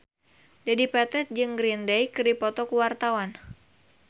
Dedi Petet jeung Green Day keur dipoto ku wartawan